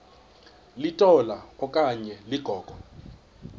litola okanye ligogo